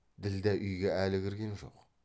ділдә үйге әлі кірген жоқ